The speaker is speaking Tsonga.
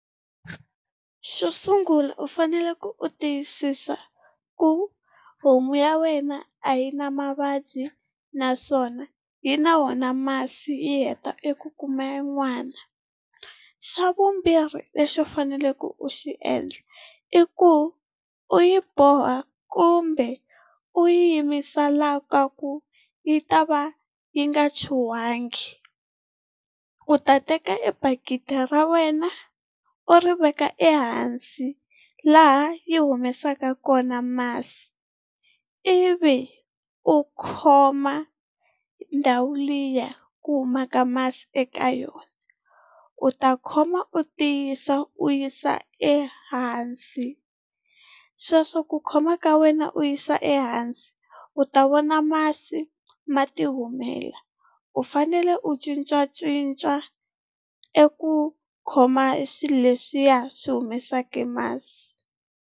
Xo sungula u fanele ku u tiyisisa ku homu ya wena a yi na mavabyi naswona yi na wona masi yi heta eku kuma n'wana. Xa vumbirhi lexi u faneleke u xi endla, i ku u yi boha kumbe u yimisa la ka ku yi ta va yi nga chuhangi u ta teka e bakiti ra wena u ri veka ehansi laha yi humesaka kona masi, ivi u khoma ndhawu liya ku humaka masi eka yona u ta khoma u tiyisa u yisa ehansi. Sweswo ku khoma ka wena u yisa ehansi u ta vona masi ma tihumela, u fanele u cincacinca eku khoma e swilo leswiya swi humesaka masi.